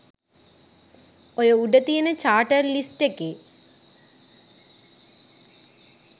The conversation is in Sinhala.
ඔය උඩ තියෙන චාටර් ලිස්ට් එකේ